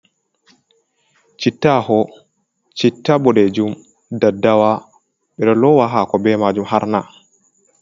Citta aho, chitta boɗejum, daddawa, ɓeɗo lowa hako bai majum harna.